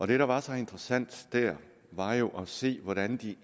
det der var så interessant der var jo at se hvordan de